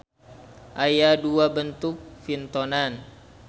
Aya dua bentuk pintonan.